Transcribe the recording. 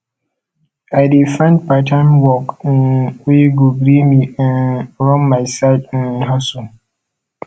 i dey find parttime work um wey go gree me um run my side um hustle